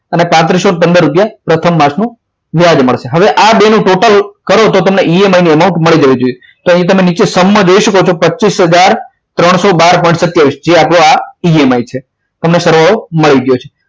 અને પાત્રીસો પંદર રૂપિયા પ્રથમ માસનો વ્યાજ મળશે હવે આ બે નું total કરો તો તમને EMI નો amount મળી જવું જોઈએ તો અહીંયા તમે નીચે સમમાં જોઈ શકો છો પચીસ હજાર ત્રણસો બાર પોઈન્ટ સત્યાવીસ જે આપણો EMI છે તમને સરવાળો મળી ગયો છે